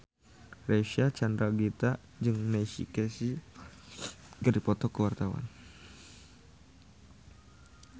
Reysa Chandragitta jeung Neil Casey keur dipoto ku wartawan